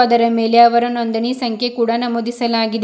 ಅದರ ಮೇಲೆ ಅವರ ನೊಂದಣಿ ಸಂಖ್ಯೆ ಕೂಡ ನಮೂದಿಸಲಾಗಿದೆ.